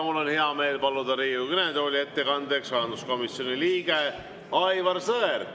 Mul on hea meel paluda Riigikogu kõnetooli ettekandeks rahanduskomisjoni liige Aivar Sõerd.